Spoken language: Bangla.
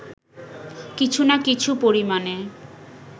কিছু না কিছু পরিমাণে